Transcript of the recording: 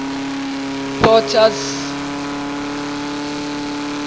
potter's